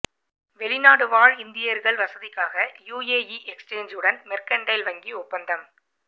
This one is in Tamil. வெளிநாடு வாழ் இந்தியர்கள் வசதிக்காக யுஏஇ எக்ஸ்சேஞ்சுடன் மெர்க்கன்டைல் வங்கி ஒப்பந்தம்